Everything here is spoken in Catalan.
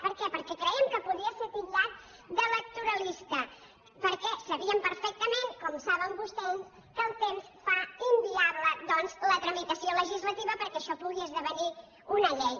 per què perquè crèiem que podia ser titllat d’electoralista perquè sabíem perfectament com ho saben vostès que el temps fa inviable doncs la tramitació legislativa perquè això pugui esdevenir una llei